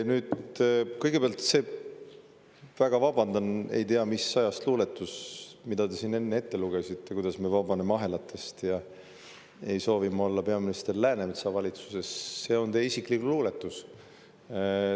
Kõigepealt see, ma väga vabandan, ei tea mis ajast pärit luuletus, mille te siin ette lugesite, kuidas me vabaneme ahelatest ja et ma ei soovi olla peaminister Läänemetsa valitsuses – see on teie isiklik luuletus.